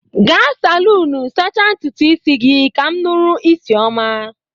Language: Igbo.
Ga salunu sacha ntụtụ isi gi kam nụrụ isi ọma!